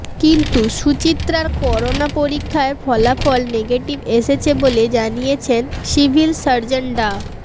কিন্তু সুচিত্রার করোনা পরীক্ষায় ফলাফল নেগেটিভ এসেছে বলে জানিয়েছেন সিভিল সার্জন ডা